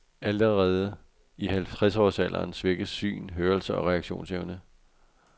Allerede i halvtredsårsalderen svækkes syn, hørelse og reaktionsevne.